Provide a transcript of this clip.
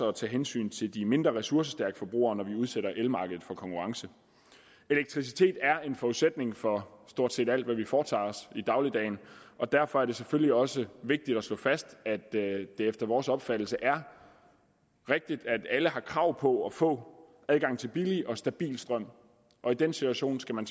at tage hensyn til de mindre ressourcestærke forbrugere når vi udsætter elmarkedet for konkurrence elektricitet er en forudsætning for stort set alt hvad vi foretager os i dagligdagen og derfor er det selvfølgelig også vigtigt at slå fast at det efter vores opfattelse er rigtigt at alle har krav på at få adgang til billig og stabil strøm og i den situation skal man